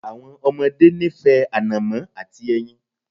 Àwọn ọmọdé nífẹ̀ẹ́ ànọ̀mó àti ẹyin.